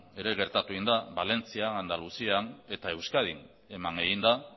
ere gertatu egin da valentzian andaluzian eta euskadin eman egin da